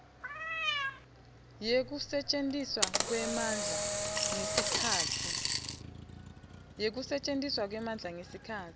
yekusetjentiswa kwemandla ngesikhatsi